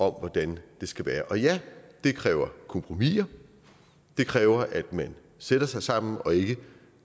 hvordan det skal være og ja det kræver kompromiser det kræver at man sætter sig sammen og ikke